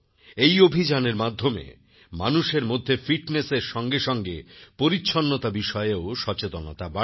এই অভিযানের মাধ্যমে মানুষের মধ্যে ফিটনেসের সঙ্গে সঙ্গেপরিছন্নতা বিষয়েও সচেতনতা বাড়ছে